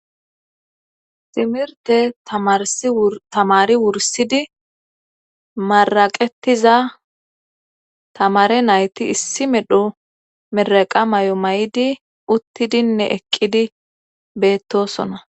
ximirte tamarstamari wursidi maraqetiza tamare nayti issi medho meraqa may7o may7di uttidinne eqqidi beettosona